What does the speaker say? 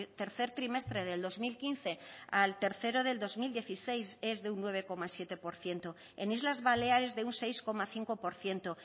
tercer trimestre del dos mil quince al tercero del dos mil dieciséis es de un nueve coma siete por ciento en islas baleares de un seis coma cinco por ciento